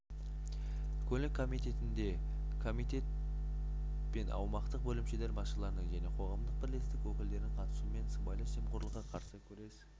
көлік комитетінде комитет пен аумақтық бөлімшелер басшыларының және қоғамдық бірлестік өкілдерінің қатысуымен сыбайлас жемқорлыққа қарсы күрес